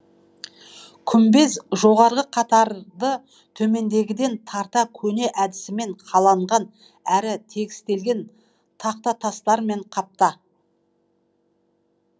күмбез жоғарғы қатарды төмендегіден тарта көне әдісімен қаланған әрі тегістелген тақтатастармен қапта